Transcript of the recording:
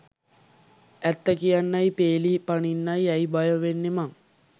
ඇත්ත කියන්නයි පේලි පනින්නයි ඇයි බය වෙන්නේ මං?